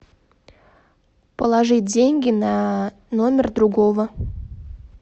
положить деньги на номер другого